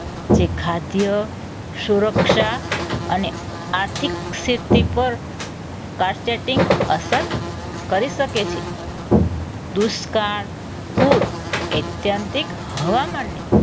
જે ખાદ્ય સુરક્ષા અને આર્થિક સ્થિતિ પર અસર કરી શકે છે. દુષ્કાળ પુર ઐત્યંતિક હવામાનને